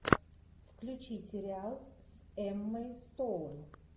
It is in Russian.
включи сериал с эммой стоун